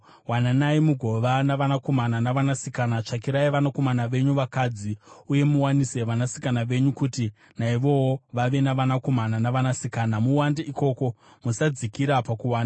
Wananai mugova navanakomana navanasikana; tsvakirai vanakomana venyu vakadzi uye muwanise vanasikana venyu, kuti naivowo vave navanakomana navanasikana. Muwande ikoko; musadzikira pakuwanda.